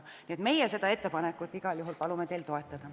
Me palume seda ettepanekut teil igal juhul toetada.